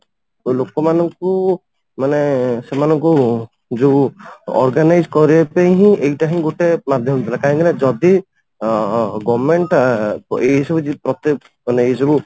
ଲୋକ ମାନଙ୍କୁ ମାନେ ସେମାନଙ୍କୁ ଯୋଉ Organize କରିବା ପାଇଁ ହିଁ ଏଇଟା ହିଁ ଗୋଟେ ମାଧ୍ୟମ ଥିଲା କାହିଁକି ନା ଯଦି ଅ government ଟା ଏଇ ସବୁ ମାନେ ଏଇ ସବୁ